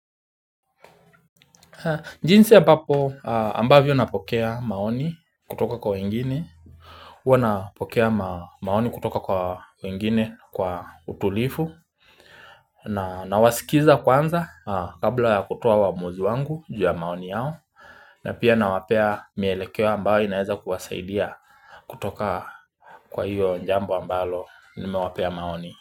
Jinsi ambapo ambavyo napokea maoni kutoka kwa wengine Huwa napokea maoni kutoka kwa wengine kwa utulivu na nawaskiza kwanza kabla ya kutoa uamuzi wangu juu ya maoni yao na pia nawapea mielekeo ambayo inaweza kuwasaidia kutoka kwa hiyo jambo ambalo nimewapea maoni.